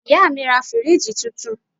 Ìyá mi ra fíríìjì tuntun